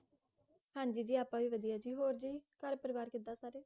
ਹਾਂਜੀ ਜੀ ਅੱਪਾ ਵੀ ਵਧੀਆ ਹੋਰ ਜੀ ਘਰ ਪਰਿਵਾਰ ਕਿਦਾ ਸੀ